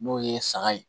N'o ye saga ye